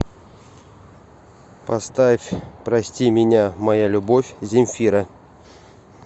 поставь прости меня моя любовь земфира